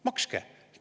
Makske!